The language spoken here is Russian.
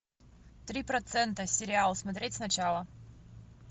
три процента сериал смотреть сначала